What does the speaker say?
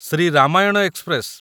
Shri Ramayana express